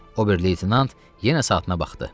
Ober leytenant yenə saatına baxdı.